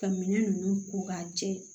Ka minɛn ninnu ko k'a jɛ